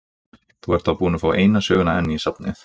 Þú ert þá búinn að fá eina söguna enn í safnið!